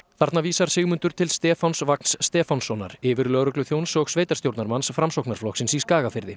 þarna vísar Sigmundur til Stefáns Vagns Stefánssonar yfirlögregluþjóns og sveitarstjórnarmanns Framsóknarflokksins í Skagafirði